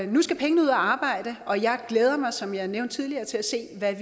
nu skal pengene ud at arbejde og jeg glæder mig som jeg nævnte tidligere til at se hvad